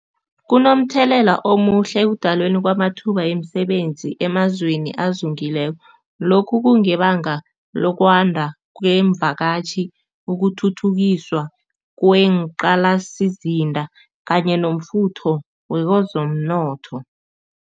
Kunomthelela omuhle ekudalweni kwamathuba yemisebenzi emazweni azungileko. Lokhu kungebanga lokwanda kwemvakatjhi, ukuthuthukiswa kweenqalasizinda kanye nomfutho wezomnotho.